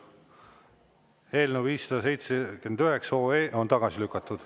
Eelnõu 579 on tagasi lükatud.